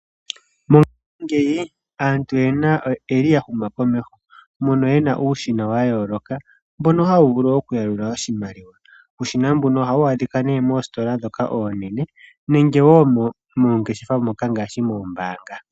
Mongaashingeyi aantu oya shuna komeho. Oyena uushina mbono hawu vulu oku yalula oshimaliwa. Uushina mbuno ohawu adhika moositola ndhoka oonene nenge woo moongeshefa moka ngaashi noombaanga.